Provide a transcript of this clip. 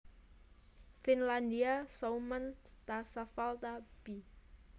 Finlandia Suomen tasavalta b